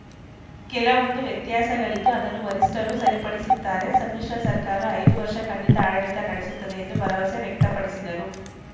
ಕೆಲವೂಂದು ವ್ಯತ್ಯಾಸಗಳಿತ್ತು ಅದನ್ನು ವರಿಷ್ಠರು ಸರಿಪಡಿಸುತ್ತಾರೆ ಸಮ್ಮಿಶ್ರ ಸರ್ಕಾರ ಐದು ವರ್ಷ ಖಂಡಿತ ಆಡಳಿತ ನಡೆಸುತ್ತದೆ ಎಂದು ಭರವಸೆ ವ್ಯಕ್ತಪಡಿಸಿದರು